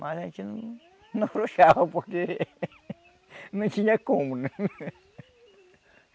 Mas a gente não não abrochava porque não tinha como, né?